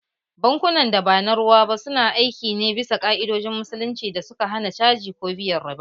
Bankunan da ba na ruwa ba su na aiki ne bisa ka’idojin Musulunci da suka hana caji ko biyan riba